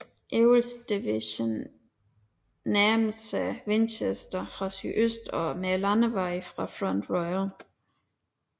Ewells division nærmede sig Winchester fra sydøst med landevejen fra Front Royal